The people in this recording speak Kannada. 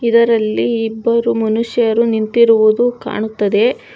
ಇದರಲ್ಲಿ ಇಬ್ಬರು ಮನುಷ್ಯರು ನಿಂತಿರುವುದು ಕಾಣುತ್ತದೆ.